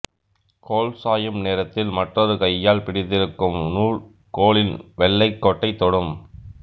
கோல் சாயும் நேரத்தில் மற்றொரு கையால் பிடித்திருக்கும் நூல் கோலின் வெள்ளைக்கோட்டைத் தொடும்